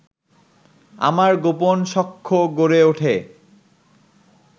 আমার গোপন সখ্য গড়ে ওঠে